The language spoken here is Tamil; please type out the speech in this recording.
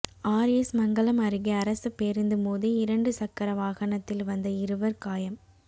ஆா் எஸ் மங்கலம் அருகே அரசு பேருந்து மோதி இரண்டு சக்கர வாகனத்தில் வந்த இருவா் காயம்